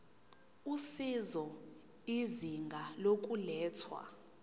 usizo izinga lokulethwa